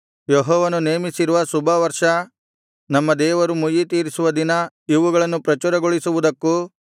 ಯೆಹೋವನು ನೇಮಿಸಿರುವ ಶುಭವರ್ಷ ನಮ್ಮ ದೇವರು ಮುಯ್ಯಿತೀರಿಸುವ ದಿನ ಇವುಗಳನ್ನು ಪ್ರಚುರಗೊಳಿಸುವುದಕ್ಕೂ